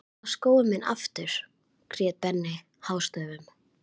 Ég vil fá skóinn minn aftur grét Benni hástöfum.